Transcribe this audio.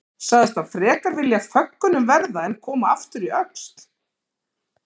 Sagðist hann frekar vilja af föggunum verða en koma aftur í Öxl.